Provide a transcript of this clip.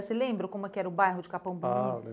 Você lembra como era o bairro de Capão? Ah,